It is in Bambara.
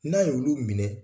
N'a y' olu minɛ